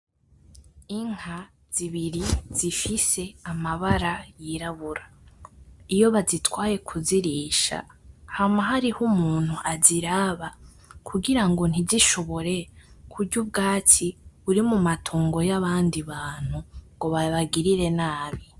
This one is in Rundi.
Inka zibiri zifise amabara yirabura. Iyo bazitwaye kuzirisha hama hariho umuntu aziraba, kugirango ntizishobore kurya ubwatsi buri mu matongo y'abandi bantu, ngo babagirire nabi.